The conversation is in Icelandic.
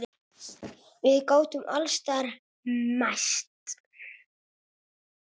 Við gátum alls staðar mæst.